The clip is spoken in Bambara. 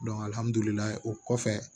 o kɔfɛ